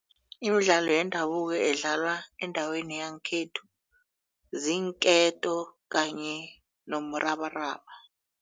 Imidlalo yendabuko edlalwa endaweni yangekhethu ziinketo kanye nomrabaraba.